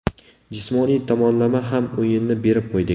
Jismoniy tomonlama ham o‘yinni berib qo‘ydik.